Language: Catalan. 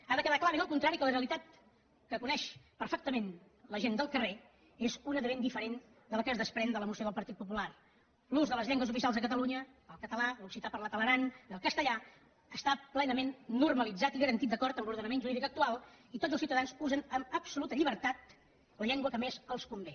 ha de quedar clar ben al contrari que la realitat que coneix perfectament la gent del carrer és una de ben diferent de la que es desprèn de la moció del partit popular l’ús de les llengües oficials a catalunya el català l’occità parlat a l’aran i el castellà està plenament normalitzat i garantit d’acord amb l’ordenament jurídic actual i tots els ciutadans usen amb absoluta llibertat la llengua que més els convé